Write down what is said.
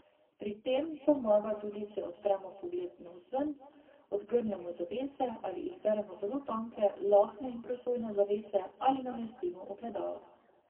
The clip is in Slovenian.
Pri tem pomaga tudi, če odpremo pogled navzven, odgrnemo zavese ali izberemo zelo tanke, lahne in prosojne zavese, ali namestimo ogledala.